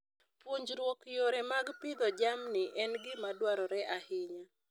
Puonjruok yore mag pidho jamni en gima dwarore ahinya.